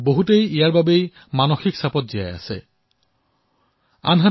বহু লোকে ইয়াৰ বাবে মানসিক অশান্তিত জীৱন কটাবলগীয়া হৈছে